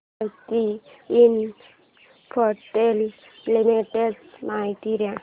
Bharti Infratel limited ची माहिती दे